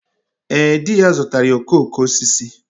Ee, di ya zụtaara ya okooko osisi.